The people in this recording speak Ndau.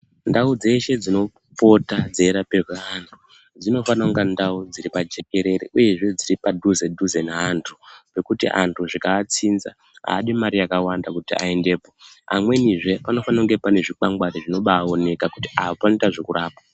Ndau dzeshe dzinopota dzeirapirwe antu dzinofana kunga ndau dziri pajekerere uyezve dziri padhuze dhuze neantu zvekuti antu zvikaanzinza adi mari yakawanda kuti aendepo amwenizve panofana kunge pane zvikwangwari zvinobaoneka kuti apa panoita zvekurapwa.